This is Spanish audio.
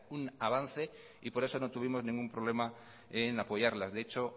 un avance y por eso no tuvimos ningún problema en apoyarlas de hecho